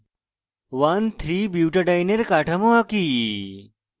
1 3butadiene এর কাঠামো আঁকি